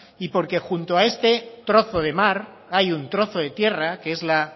y porque junto a este trozo de mar hay un trozo de tierra que es la